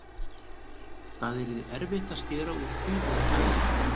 Það yrði erfitt að skera úr því með mælingu.